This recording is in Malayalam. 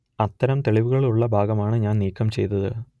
അത്തരം തെളിവുകൾ ഉള്ള ഭാഗമാണ് ഞാൻ നീക്കം ചെയ്തത്